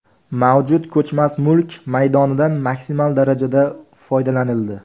Mavjud ko‘chmas mulk maydonidan maksimal darajada foydalanildi.